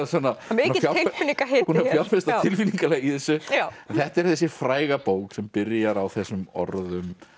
mikill tilfinningahiti búin að fjárfesta tilfinningalega í þessu þetta er þessi fræga bók sem byrjar á þessum orðum